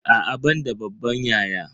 A'a ban da babban yaya.